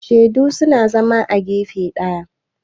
shaidu suna zama a gefe daya